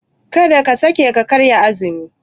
Karka sake ka karya azumi.